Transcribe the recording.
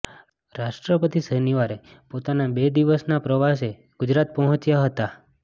રાષ્ટ્રપતિ શનિવારે પોતાના બે દિવસના પ્રવાસે ગુજરાત પહોંચ્યા હતા